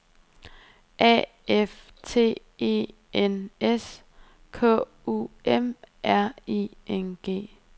A F T E N S K U M R I N G